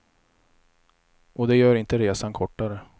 Och det gör inte resan kortare.